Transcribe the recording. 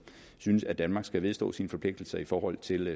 synes at danmark skal vedstå sig sine forpligtelser i forhold til